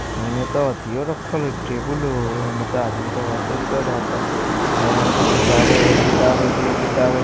एमे त येथीयो रखल हई टेबल एमे आदमी आयतो त रहतो एमे किताब हई एगो किताब दुगो --